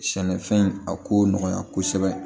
Sɛnɛfɛn in a ko nɔgɔya kosɛbɛ